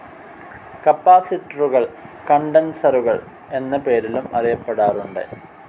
കപ്പാസിറ്ററുകൾ കണ്ടൻസറുകൾ എന്ന പേരിലും അറിയപ്പെടാറുണ്ട്.